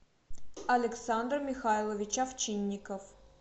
александр михайлович овчинников